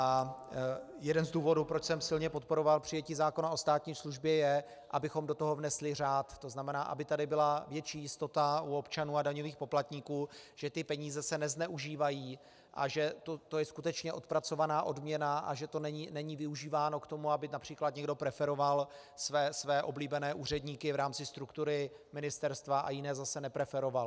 A jeden z důvodů, proč jsem silně podporovat přijetí zákona o státní službě, je, abychom do toho vnesli řád, to znamená, aby tady byla větší jistota u občanů a daňových poplatníků, že ty peníze se nezneužívají a že to je skutečně odpracovaná odměna a že to není využíváno k tomu, aby například někdo preferoval své oblíbené úředníky v rámci struktury ministerstva a jiné zase nepreferoval.